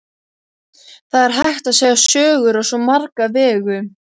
Það er hægt að segja sögur á svo marga vegu.